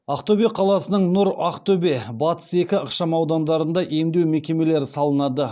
ақтөбе қаласының нұр ақтөбе батыс екі ықшамаудандарында емдеу мекемелері салынады